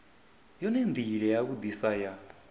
yone ndila ya vhudisa ya